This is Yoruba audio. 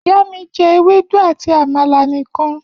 Iya mi je ewedu ati amala nikan